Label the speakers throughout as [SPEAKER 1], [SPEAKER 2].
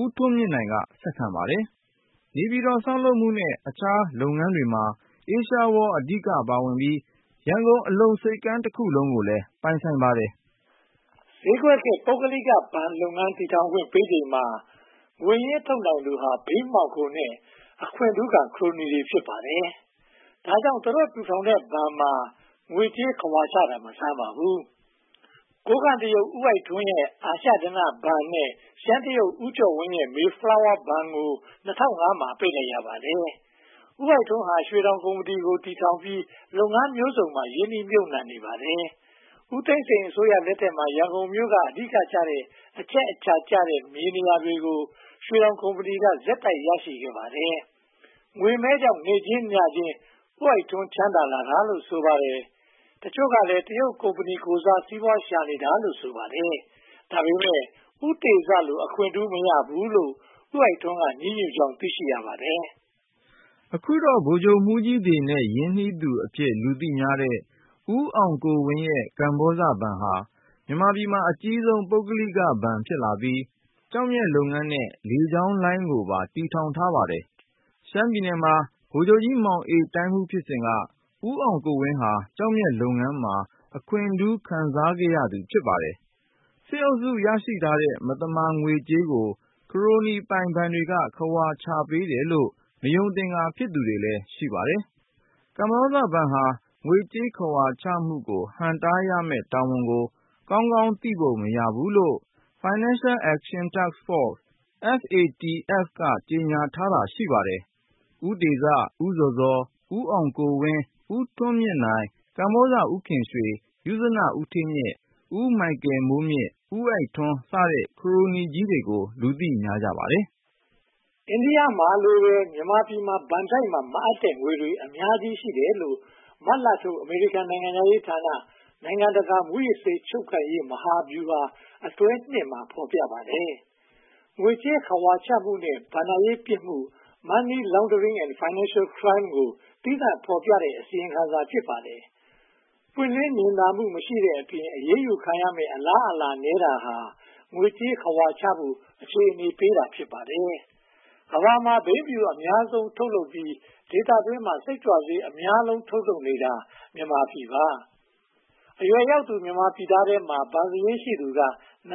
[SPEAKER 1] ဦးထွန်းမြင့်နိုင်က ဆက်ခံပါတယ်။ နေပြည်တော် တည်ဆောက်မှု နဲ့ အခြားလုပ်ငန်းတွေမှာ Asia World အဓိက ပါဝင်ပြီး ရန်ကုန် အလုံဆိပ်ကမ်းတခုလုံးကိုလည်း ပိုင်ပါတယ်
[SPEAKER 2] ။ ဈေးကွက်ခေတ် ပုဂ္ဂလိက ဘဏ်တည်ထောင်ခွင့်ပေးချိန်မှာ ငွေရင်းထုတ်နိုင်သူဟာ ဘိန်းမှောင်ခိုနဲ့ အခွင့်ထူးခံ ခရိုနီတွေ ဖြစ်ပါတယ်။ ဒါကြောင့် သူတို့တည်ထောင်ထားတဲ့ဘဏ်မှာ ငွေကြေးခဝါချတာ မဆန်းပါဘူး။ ကိုးကန့်တရုတ် ဦးအိုက်ထွန်းရဲ့ အာရှဓနဘဏ်နဲ့ ရှမ်းတရုတ် ဦးကျော်ဝင်းရဲ့ Mayflower ဘဏ်ကို ၂၀၀၅ မှာ ပိတ်လိုက်ပါတယ်။ ဦးအိုက်ထွန်းဟာ ရွှေတောင်ကုမ္ပဏီကို တည်ထောင်ပြီး လုပ်ငန်းမျိုးစုံမှာ ရင်းနှီးမြုပ်နံှနေပါတယ်။ ဦးသိန်းစိန်အစိုးရလက်ထက်မှာ ရန်ကုန်မြို့က အဓိက အချက်အချာကျတဲ့ မြေနေရာတွေကို ရွှေတောင်ကုမ္ပဏီက ဆက်တိုက်ရရှိခဲ့ပါတယ်။ ငွေမဲကြောင့် နေ့ချင်းညချင်း ဦးအိုက်ထွန်း ချမ်းသာလာတာလို့ ဆိုပါတယ်။ တချို့ကလည်း တရုတ်ကုမ္ပဏီကိုယ်စား စီးပွားရှာနေတာလို့ ဆိုပါတယ်။ ဒါပေမဲ့ ဦးတေဇလို အခွင့်ထူးမရဘူးလို့ ဦးအိုက်ထွန်းက ညည်းတွားကြောင်း သိရှိရပါတယ်
[SPEAKER 1] ။ အခုတော့ ဗိုလ်ချုပ်မှူးကြီးတွေနဲ့ ရင်းနှီးသူအဖြစ် လူသိများတဲ့ ဦးအောင်ကိုဝင်းရဲ့ ကမ္ဘောဇဘဏ်ဟာ မြန်မာပြည်မှာ အကြီးဆုံး ပုဂ္ဂလိကဘဏ် ဖြစ်လာပြီး၊ ကျောက်မျက်လုပ်ငန်းနဲ့ လေကြောင်းလိုင်းကိုပါ တည်ထောင်ထားပါတယ်။ ရှမ်းပြည်နယ်မှာ ဗိုလ်ချုပ်ကြီးမောင်အေး တိုင်းမှူးလုပ်စဉ်က ဦးအောင်ကိုဝင်းဟာ ကျောက်မျက်လုပ်ငန်းမှာ အခွင့်ထူး ခံစားရသူ ဖြစ်ပါတယ်။ စစ်အုပ်စု ရရှိထားတဲ့ မသမာငွေကြေးကို ခရိုနီပိုင်ဘဏ်တွေက ခဝါပေးတယ်လို့ မယုံသင်္ကာ ဖြစ်သူတွေလည်း ရှိပါတယ်။ ကမ္ဘောဇဘဏ်ဟာ ငွေကြေးခဝါချမှုကို ဟန့်တားရမယ့်တာဝန်ကို ကောင်းကောင်းသိပုံ မရဘူးလို့ FATF – Financial Action Task Force က ကြေညာထားတာ ရှိပါတယ်။ ဦးတေဇ၊ ဦးဇော်ဇော်၊ ဦးအောင်ကိုဝင်း၊ ဦးထွန်းမြင့်နိုင်၊ ဇေကမ္ဘာဦးခင်ရွှေ၊ ယုဇနဦးဌေးမြင့်၊ ဦးမိုးမြင့်၊ ဦးအိုက်ထွန်းစတဲ့ ခရိုနီကြီးတွေကို လူသိများပါတယ်
[SPEAKER 2] ။ အိန္ဒိယလိုပဲ မြန်မာပြည်မှာ ဘဏ်တိုက်မှာ မအပ်တဲ့ငွေတွေ အများကြီး ရှိတယ်လို့ မတ်လထုတ် အမေရိကန်နိုင်ငံခြားရေးဌာန “နိုင်ငံတကာ မူးယစ်ဆေး ချုပ်ကိုင်ရေး မဟာဗျူဟာအတွဲ ” မှာ ဖော်ပြထားပါတယ်။ ငွေကြေးခဝါချမှုနဲ့ ဘဏ္ဍာရေးပြစ်မှု Money Laundering and Financial Crime ကို သီးသန့်ဖော်ပြထားတဲ့ အစီရင်ခံစာ ဖြစ်ပါတယ်။ ပွင့်လင်းမြင်သာမှု မရှိတဲ့အပြင် အရေးယူခံရမယ့် အလားအလာနည်းတာဟာ ငွေကြေးခဝါချဖို့ အခြေအနေပေးတာ ဖြစ်ပါတယ်။ ကမ္ဘာမှာ ဘိန်းဖြူ ဒုတိယအများဆုံး ထုတ်လုပ်ပြီး၊ ဒေသတွင်းမှာ စိတ်ကြွဆေး အများဆုံးထုတ်နေတာ မြန်မာပြည်ပါ။ အရွယ်ရောက်သူ မြန်မာပြည်သားတွေထဲမှာ ဘဏ်စာရင်းရှိသူက ရာ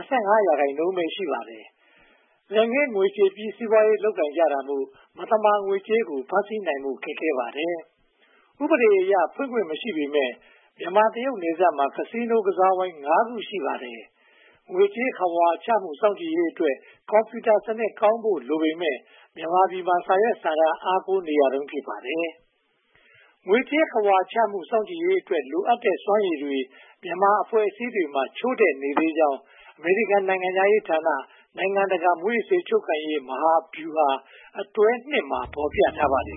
[SPEAKER 2] ခိုင်နှုန်းပဲ ရှိပါတယ်။ လက်ငင်းငွေချေပြီး စီးပွားရေးလုပ်ကိုင်ကြတာမို့ မသမာငွေကြေးကို ဖမ်းဆီးနိုင်ဖို့ ခက်ခဲပါတယ်။ ဥပဒေအရ ဖွင့်ခွင့်မရှိပေမယ့် မြန်မာ-တရုတ်နယ်စပ်မှာ Casino ကစားဝိုင်း ခု ရှိပါတယ်။ ငွေကြေးခဝါချမှု စောင့်ကြည့်ရေးအတွက် ကွန်ပြူတာစနစ် အားကောင်းဖို့ လိုပေမယ့် မြန်မာပြည်မှာ စာရွက်စာတမ်း အားကိုးနေရတုန်း ဖြစ်ပါတယ်။ ငွေကြေးခဝါချမှု စောင့်ကြည့်ရေးအတွက် လိုအပ်တဲ့ စွမ်းရည်တွေ မြန်မာအဖွဲ့အစည်းတွေမှာ ချို့တဲ့နေသေးကြောင်း အမေရိကန် နိုင်ငံခြားရေးဌာန “နိုင်ငံတကာ မူးယစ်ဆေး ချုပ်ကိုင်ရေး မဟာဗျူဟာ အတွဲ ” မှာ ဖော်ပြထားပါတယ်